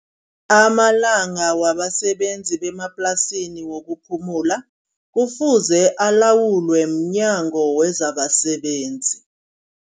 Amalanga wabasebenzi bemaplasini wokuphumula. Kufuze alawulwe mnyango wezabasebenzi.